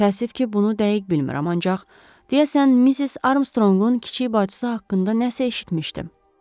Təəssüf ki, bunu dəqiq bilmirəm, ancaq deyəsən Missis Armstrongun kiçik bacısı haqqında nəsə eşitmişdim.